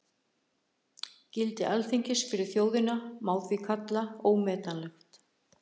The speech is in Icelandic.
Gildi Alþingis fyrir þjóðina má því kalla ómetanlegt.